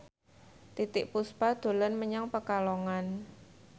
Titiek Puspa dolan menyang Pekalongan